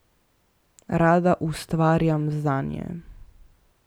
Rada ustvarjam zanje.